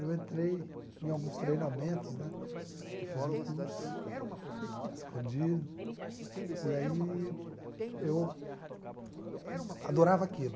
Eu entrei em alguns treinamentos, né, fiz um curso, escondido, e aí eu adorava aquilo.